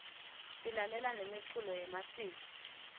silalela nemiculo yemasiko